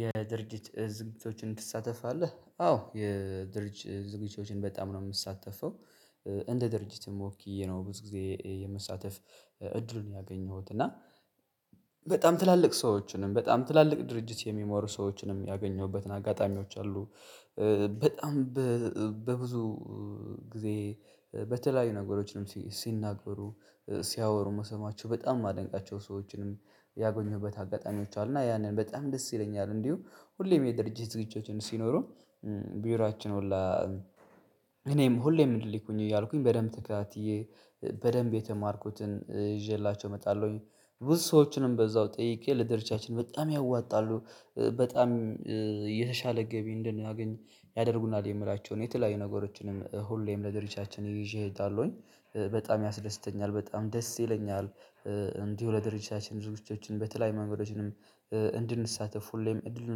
የድርጅት ዝግጅቶችን ትሳተፋለህ? አዎ የድርጅት ዝግጅቶችን በጣም ነው የምትሳተፈው እንደ ድርጅትም ወኪየ ነው ብዙ ጊዜ የምሳተፍ። እድሉን ያገኘሁት እና በጣም ትላልቅ ሰዎችንም በጣም ትላልቅ ድርጅት የሚመሩ ሰዎችንም ያገኘሁበትን አጋጣሚዎች አሉ። በጣም በብዙ ጊዜ በተለያዩ ነገሮችንም ሲናገሩ ሲያወሩ መሰማቸው በጣም የማደንቃቸው ሰዎችንም ያጎኘሁበት አጋጣሚዎች አሉና ያንን በጣም ደስ ይለኛል። እንዲሁ ሁሌም የድርጅት ዝግጅቶችን ሲኖሩ ቢሯችን ሁላ እኔም ሁሌም እንድልኩኝ እያልኩኝ በደንብ ተከታትዬ በደንብ የተማርኩትን ይዤላቸው እመጣለሁኝ። ብዙ ሰዎችንም በዛው ጠይቄ ለደርቻችን በጣም ያዋጣሉ በጣም የተሻለ ገቢ እንድናገኝ ያደርጉናል የምላቸውን የተለያዩ ነገሮችንም ሁሌም ለድርጅቻችን ይዤ እሄዳለሁኝ። በጣም ያስደስተኛል በጣም ደስ ይለኛል እንዲሁ ለድርጅታችን ብዙወቻችን በተለያዩ መንገዶችንም እንድንሳተፉ ሁሌም እድሉን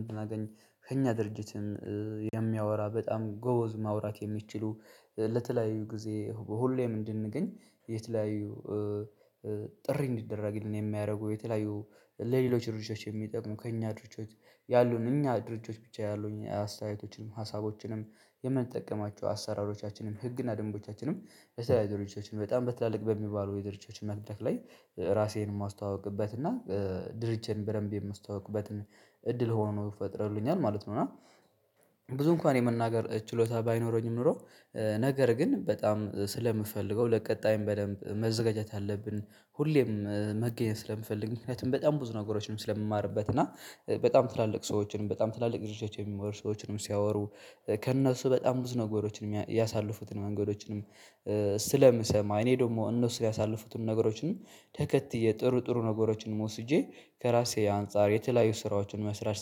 እንድናገኝ ከእኛ ድርጅትን የሚያወራ በጣም ጎዝ ማውራት የሚችሉ ለተለያዩ ጊዜ ሁሌም እንድንገኝ። የተለያዩ ጥሪ እንዲደረግልን የሚያደርገው የተለያዩ ለሌሎች ድርጅቶች የሚጠቅሙ ከእኛ ድርጅቶች ያሉን እኛ ድርጅቶች ብቻ ያሉኝ አስተያየቶችንም ሀሳቦችንም የምንጠቀማቸው አሰራሮቻችንም ህግና ደንቦቻችንም እዛ ያሉ ድርጅቶችን በጣም በትላልቅ በሚባሉ የድርጅቶችን መድረክ ላይ ራሴን የማስተዋውቅበት እና ድርጅቴን በደንብ የማስተዋውቅበትን እድል ሆኖ ፈጥሮልኛል ማለት ነው። እና ብዙ እንኳን የመናገር ችሎታ ባይኖረኝም ኖሮ ነገር ግን በጣም ስለምፈልገው ለቀጣይም በደንብ መዘጋጀት አለብን። ሁሌም መገኘት ስለምፈልግ ምክንያቱም በጣም ብዙ ነገሮች ነው ስለምማርበት እና በጣም ትላልቅ ሰዎችን በጣም ትላልቅ ድርጅቶችን የሚመሩ ሰዎችንም ሲያወሩ ከነሱ በጣም ብዙ ነገሮችን ያሳልፉትን መንገዶችንም ስለምሰማ እኔ ደግሞ እነሱን ያሳለፉትን ነገሮችን ተከትዬ ጥሩ ጥሩ ነገሮችን ወስጄ ከራሴ አንፃር የተለያዩ ስራዎችን መስራት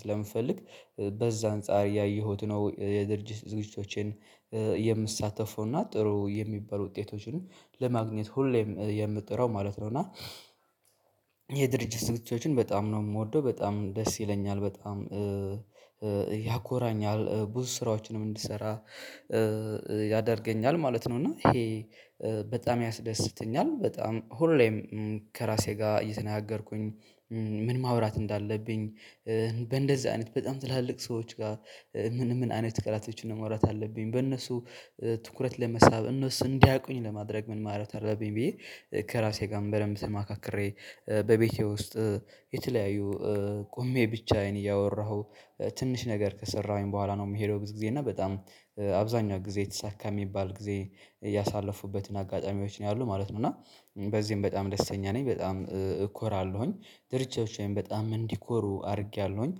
ስለምፈልግ በዛ አንፃር ያየሁት ነው የድርጅት ዝግጅቶቼን የምሳተፈው እና ጥሩ የሚባሉ ውጤቶችን ለማግኘት ሁሌም የምጥረው ማለት ነው። እና የድርጅት ዝግጅቶችን በጣም ነው ምወደው በጣም ደስ ይለኛል በጣም ያኮራኛል ብዙ ስራዎችንም እንድሰራ ያደርገኛል ማለት ነው። እና ይሄ በጣም ያስደስተኛል በጣም ሁሌም ከራሴ ጋር እየተናገርኩኝ ምን ማውራት እንዳለብኝ በእንደዚህ አይነት በጣም ትላልቅ ሰዎች ጋር ምን ምን አይነት ቃላቶችን ነው መውራት ያለብኝ በእነሱ ትኩረት ለመሳብ እነሱ እንዲያቁኝ ለማድረግ ምን ማለት አብኝ ብዬ ከራሴ ጋር በደንብ ተማካክሬ በቤቴ ውስጥ የተለያዩ ቆሜ ብቻዬን እያወራሁ ትንሽ ነገር ከሰራሁኝ በኋላ ነው የምሄደው ብዙ ጊዜ እና በጣም አብዛኛው ጊዜ የተሳካ የሚባል ጊዜ እያሳለፉበትን አጋጣሚዎች ነው ያሉት ማለት ነው። እና በዚህም በጣም ደስተኛ ነኝ በጣም እኮራለሁኝ ድርጅቶቼም በጣም እንዲኮሩ አድርጌያለሁኝ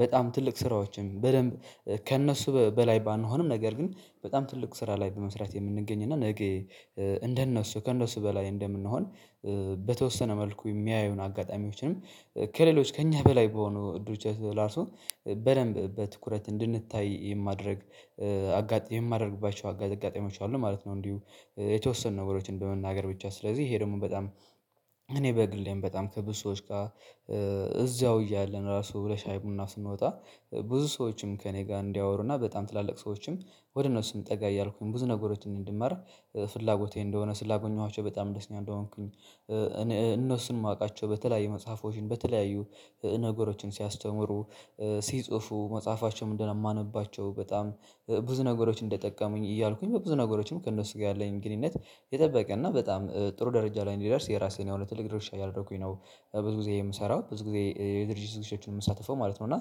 በጣም ትልቅ ስራዎችም በደንብ ከእነሱ በላይ ባንሆንም ነገር ግን በጣም ትልቅ ስራ ላይ በመስራት የምንገኝ እና ነገ እንደነሱ ከእነሱ በላይ እንደምንሆን በተወሰነ መልኩ የሚያዩን አጋጣሚዎችንም ከሌሎች ከእኛ በላይ በሆነ ድርጅት እራሱ በደንብ በትኩረት እንድንታይ የማድረግ አጋ የማደርግባቸው አጋጣሚዎች አሉ ማለት ነው። እንዲሁ የተወሰኑ ነገሮችን በመናገር ብቻ ስለዚህ ይሄ ደግሞ በጣም እኔ በግሌም በጣም ከብዙ ሰዎች ጋር እዛው እያለን ራሱ ለሻይ ቡና ስንወጣ ብዙ ሰዎችም ከእኔ ጋር እንዲያወሩና በጣም ትላልቅ ሰዎችም ወደ እነሱም ጠጋ እያልኩኝ ብዙ ነገሮችን እንድማር ፍላጎቴ እንደሆነ ስላገኘኋቸው በጣም ደስተኛ እንደሆንኩኝ እነሱን የማውቃቸው በተለያዩ መጽሐፎችን በተለያዩ ነገሮችን ሲያስተምሩ ሲጽፉ መጽሐፋቸውን እንደማነባቸው በጣም ብዙ ነገሮች እንደጠቀሙኝ እያልኩኝ በብዙ ነገሮችም ከእነሱ ጋር ያለኝ ግንኙነት የጠበቀና በጣም ጥሩ ደረጃ ላይ እንዲደርስ የራሴን የሆነ ትልቅ ድርሻ እያደረኩኝ ነው። ብዙ ጊዜ የምሰራው ብዙ ጊዜ የድርጅት ዝግጅቶችን የምሳተፈው ማለት ነው እና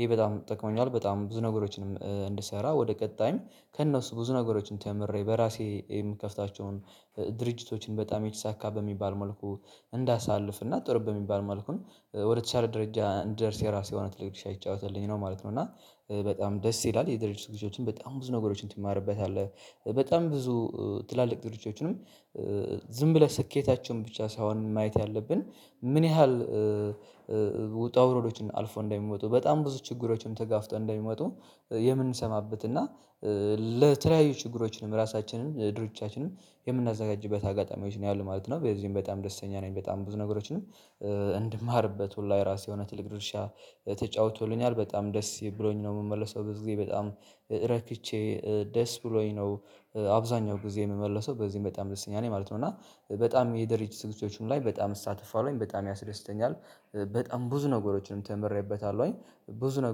ይሄ በጣም ጠቅሞኛል በጣም ብዙ ነገሮችንም እንድሰራ ወደ ቀጣይም ከእነሱ ብዙ ነገሮችን ተምሬ በራሴ የምከፍታቸውን ድርጅቶችን በጣም የተሳካ በሚባል መልኩ እንዳሳልፍ እና ጥሩ በሚባል መልኩን ወደተሻለ ደረጃ እንድደርስ ራሴ የሆነ ትልቅ ጅርሻ እየተጫወተልኝ ነው ማለት ነው። እና በጣም ደስ ይላል የድርጅት ዝግጅቶችን በጣም ብዙ ነገሮችን ትማርበታለህ። በጣም ብዙ ትላልቅ ድርጅቶችንም ዝም ብለህ ስኬታቸውን ብቻ ሳይሆን ማየት ያለብን ምን ያህል ውጣ ውረዶችን አልፎ እንደሚመጡ በጣም ብዙ ችግሮችንም ተጋፍጠው እንደሚመጡ የምንሰማበት እና ለተለያዩ ችግሮችንም ራሳችንንም ድርጅቻችንም የምናዘጋጅበት አጋጣሚዎች ነው ያሉት ማለት ነው። በዚህም በጣም ደስተኛ ነኝ በጣም ብዙ ነገሮችንም እንድማርበት ሁላ የራሴ የሆነ ትልቅ ድርሻ ተጫውቶልኛል በጣም ደስ ብሎኝ ነው የምመለሰው በዚህ ጊዜ በጣም ረክቼ ደስ ብሎኝ ነው አብዛኛው ጊዜ የምመለሰው በዚህ በጣም ደስተኛ ነኝ ማለት ነው። እና በጣም የድርጅት ዝግጅቶች ላይ በጣም እሳ ትፋለውኝ በጣም ያስደስተኛል በጣም ብዙ ነገሮችንም ተምሬበታለሁ ብዙ ነገር